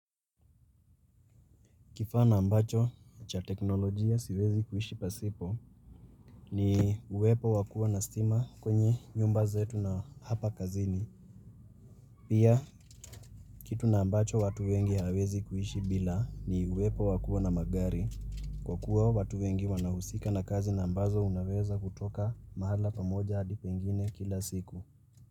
Kifaa na ambacho cha teknolojia siwezi kuhishi pasipo, ni uwepo wa kuwa na stima kwenye nyumba zetu na hapa kazini. Pia, kitu na ambacho watu wengi hawawezi kuhishi bila, ni uwepo wa kuwa na magari, kwa kuwa watu wengi wanahusika na kazi na ambazo unaweza kutoka mahali pamoja hadi pengine kila siku.